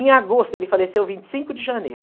Em agosto, ele faleceu vinte e cindo de janeiro.